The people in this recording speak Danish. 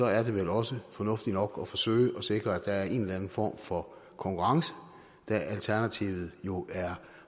er det vel også fornuftigt nok at forsøge at sikre at der er en eller anden form for konkurrence da alternativet jo er